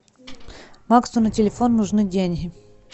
максу на телефон нужны деньги